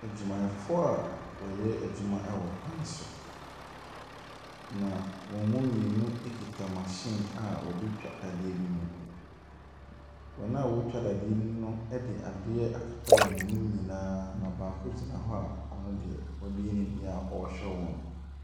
Adwumayɛfoɔ a wɔyɛ adwuma wɔ kwan so, na wɔn mu mmienu kita machine a wɔde retwa adeɛ bi mu. Wɔn a wɔretwa dadeɛ no de adeɛ akata wɔn anim nyinaa, na baako gyina hɔ a ɔno deɛ wabue ne deɛ a ɔrehwɛ wɔn.